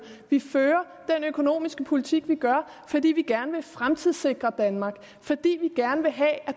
vi fører den økonomiske politik vi gør fordi vi gerne vil fremtidssikre danmark fordi vi gerne vil have at